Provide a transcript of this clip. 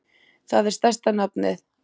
Það er stærsta nafnið.